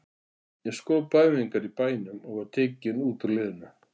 Ég skrópaði á æfingar í bænum og var tekinn út úr liðinu.